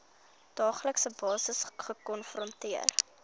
daaglikse basis gekonfronteer